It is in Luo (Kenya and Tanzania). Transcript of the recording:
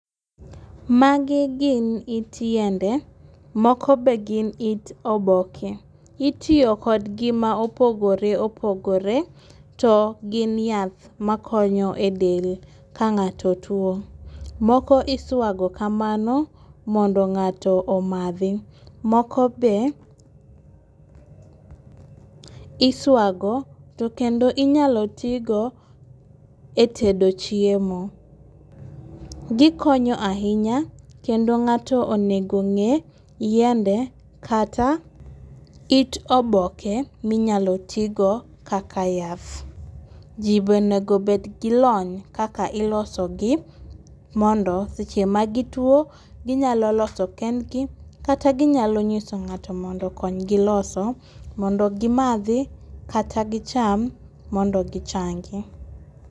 Magi gin yit yiende moko be gin yit oboke, itiyo kodgi ma opogore opogore to gin yath makonyo e del ka ng'ato tuo, moko iswago kamano mondo ng'ato omathi, moko be iswago kendo inyalo tigo e tedo chiemo, gikonyo ahinya kendo ng'ato onigo ong'e yiende kata yit oboke minyalo tigo kaka yath, ji be onego bed gi lony kaka ilosogi mondo seche magitwo ginyalo loso kendgi kata ginyalo nyiso ng'ato mondo okonygi loso mondo gimathi kata gicham mondo gichangi